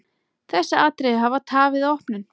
Þessi atriði hafi tafið opnun.